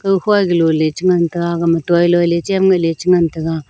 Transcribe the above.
dukhua aga lo le cha ngan taga aga ma toiloi le cham ngaeh le cha ngan taga.